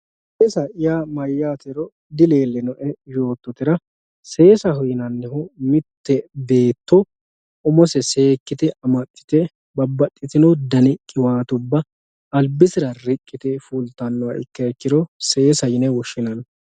seesa yaa mayyatero dileellino"e yoottotera seesaho yinannihu mitte beetto umose seekkite amaxxite babbaxxitino dani qiwaatubba albisera riqqite biiffannoha ikkiro seesaho yine woshshinanni